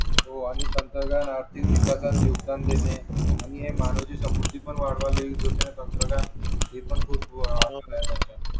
हो आणि तंत्रज्ञानाने आर्थिक विकासात योगदान देणे आणि हे मानवाची समृद्धी पण वाढवता येऊ शकते ना हे पण खूप